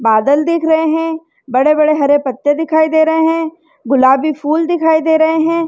बादल दिख रहे है बड़े बड़े हरे पत्ते दिखाई दे रहे है गुलाबी फूल दिखाई दे रहे है।